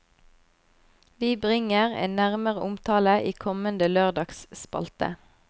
Vi bringer en nærmere omtale i kommende lørdagsspalte.